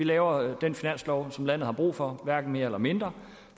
lavet den finanslov som landet har brug for hverken mere eller mindre